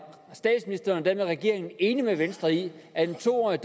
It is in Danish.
statsministeren og den her regering enig med venstre i at en to årig